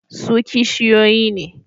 Su kishiyoyi ne.